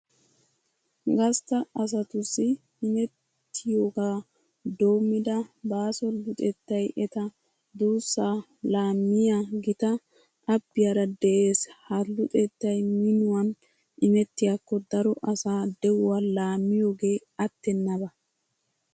Gastta asatussi imettiyogaa doommida baaso luxettay eta duussaa laammiya gitta abbiyara de'ees. Ha luxettay minuwan imettiyakko daro asaa de'uwa laammiyogee attennaba.